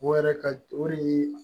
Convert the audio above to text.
O yɛrɛ ka o de ye